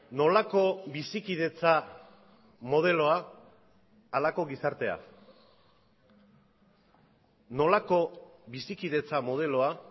nolako bizikidetza modeloa halako gizartea nolako bizikidetza modeloa